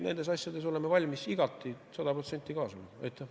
Nendes asjades me oleme valmis igati, sada protsenti kaasa lööma.